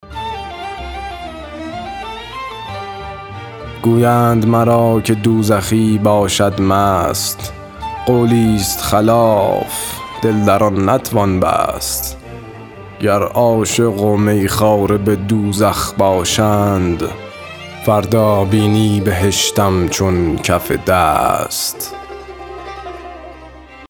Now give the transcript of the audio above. گویند مرا که دوزخی باشد مست قولی ست خلاف دل در آن نتوان بست گر عاشق و می خواره به دوزخ باشند فردا بینی بهشت همچون کف دست